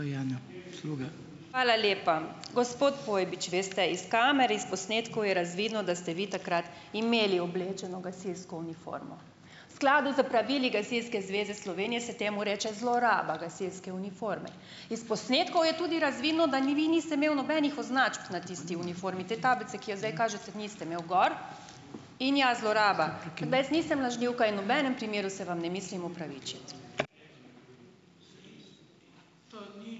Hvala lepa. Gospod Pojbič, veste - iz kamer, iz posnetkov je razvidno, da ste vi takrat imeli oblečeno gasilsko uniformo. V skladu s pravili Gasilske zveze Slovenije se temu reče zloraba gasilske uniforme. Iz posnetkov je tudi razvidno, da vi niste imeli nobenih označb na tisti uniformi. Te tablice, ki jo zdaj kažete, niste imeli gor. In ja - zloraba. Ke da jaz nisem lažnivka in nobenem primeru se vam ne mislim opravičiti.